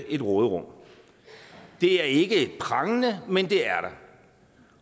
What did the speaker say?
et råderum det er ikke prangende men det er der